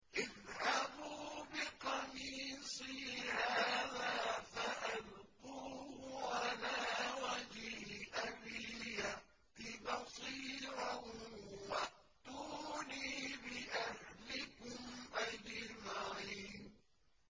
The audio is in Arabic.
اذْهَبُوا بِقَمِيصِي هَٰذَا فَأَلْقُوهُ عَلَىٰ وَجْهِ أَبِي يَأْتِ بَصِيرًا وَأْتُونِي بِأَهْلِكُمْ أَجْمَعِينَ